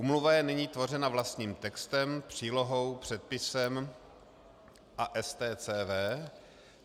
Úmluva je nyní tvořena vlastním textem, přílohou, předpisem a STCW.